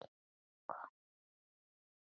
Kominn með miða?